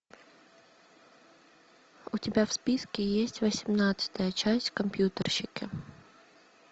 у тебя в списке есть восемнадцатая часть компьютерщики